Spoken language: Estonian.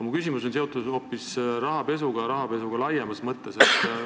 Minu küsimus on aga seotud hoopis rahapesuga laiemas mõttes.